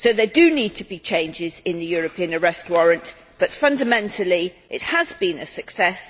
There do need to be changes to the European Arrest Warrant, but fundamentally it has been a success.